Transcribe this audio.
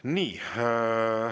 Nii.